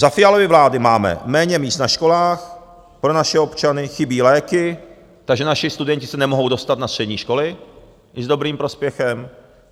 Za Fialovy vlády máme méně míst na školách pro naše občany, chybí léky, takže naši studenti se nemohou dostat na střední školy i s dobrým prospěchem.